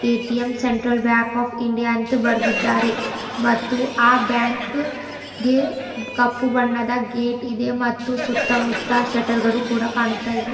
ATM central bank of India ಅಂತ ಬರೆದಿದ್ದಾರೆ ಮತ್ತು ಆ ಬ್ಯಾಂಕ್ ಕಪ್ಪು ಬಣ್ಣದ ಗೆಟಿದೆ ಮತ್ತು ಸುತ್ತಮುತ್ತ ಶೆಟ್ಟರ್ ಗಳು ಕೂಡ ಕಾಣ್ತಾ ಇವೆ.